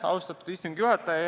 Austatud istungi juhataja!